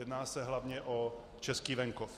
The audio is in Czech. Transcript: Jedná se hlavně o český venkov.